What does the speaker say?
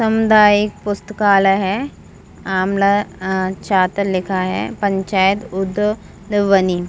सामुदायिक पुस्तकालय है आमलाचातर लिखा है पंचायत उदबनी--